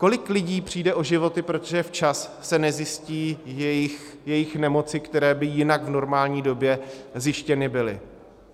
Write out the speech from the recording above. Kolik lidí přijde o životy, protože se včas nezjistí jejich nemoci, které by jinak v normální době zjištěny byly?